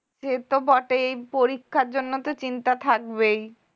সে তো বটেই পরীক্ষার জন্য তো চিন্তা থাকবেই